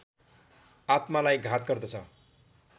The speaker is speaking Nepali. आत्मालाई घात गर्दछ